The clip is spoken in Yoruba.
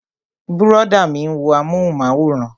Brọ̀dá mi ń wo amúhùnmáwòrán